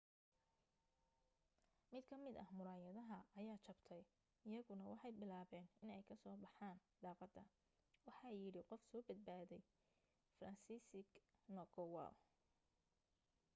mid ka mid ah muraayada ayaa jabtay iyaguna waxay bilaabeen iney ka soo baxan daqada waxa yidhi qof soo badbaday franciszek kowal